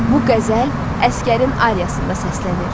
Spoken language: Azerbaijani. Bu qəzəl Əsgərin Aryasında səslənir.